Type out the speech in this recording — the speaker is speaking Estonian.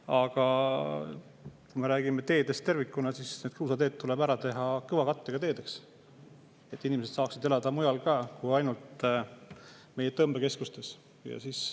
Aga kui me räägime teedest tervikuna, siis need kruusateed tuleb teha kõvakattega teedeks, et inimesed saaksid elada mujal ka kui ainult meie tõmbekeskustes.